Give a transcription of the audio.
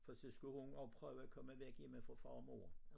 For stå skulle hun også prøve at komme væk hjemme fra far og mor